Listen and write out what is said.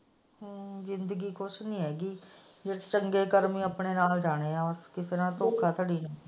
ਜਿੰਦਗੀ ਕੁਝ ਨਹੀਂ ਹੈਗੀ ਚੰਗੇ ਕਰਮ ਹੀ ਆਪਣੇ ਨਾਲ ਜਾਣੇ ਹਾਂ ਬਸ।